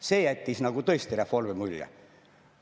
See jättis tõesti reformi mulje.